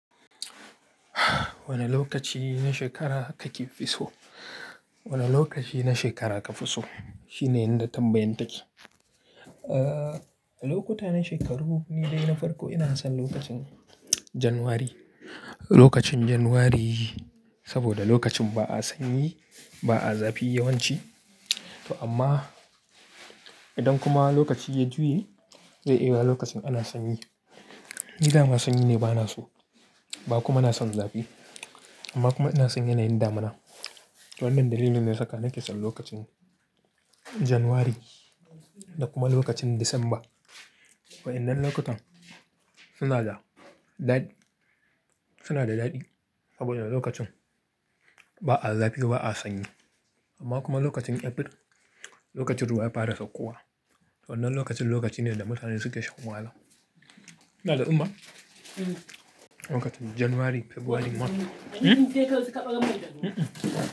Wane lokaci na shekara kake fi so? Wane lokaci na shekara ka fi so? Shine yanda tambayan take. Eh, lokuta na shekaru ni dai na farko ina son lokacin Janairu. Lokacin Janairu saboda lokacin ba a sanyi, ba a zafi yawanci to amma idan kuma lokaci ya juye zai iya yiwuwa lokacin ana sanyi. Ni daman sanyi ne bana so, ba kuma na son zafi amma kuma ina son yanayin damana. To wannan dalilin ne saka nake son lokacin Janairu da kuma lokacin Disamba. Waɗannan lokutan suna da daɗi, suna da daɗi saboda lokacin ba a zafi ba a sanyi amma kuma lokacin April lokacin ruwa ya fara saukowa. Wannan lokacin lokaci ne da mutane suke shan wahala. Mene da Umma? Lokacin Janairu, Fabrairu ma.